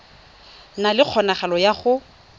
na le kgonagalo ya go